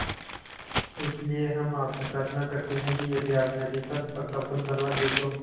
इसलिए हम आपसे प्रार्थना करते हैं कि यदि आप नदी पर पक्का पुल बनवा दे तो